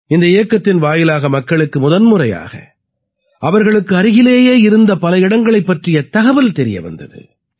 இந்த இயக்கத்தின் வாயிலாக மக்களுக்கு முதன் முறையாக அவர்களுக்கு அருகிலேயே இருந்த பல இடங்களைப் பற்றிய தகவல் தெரிய வந்தது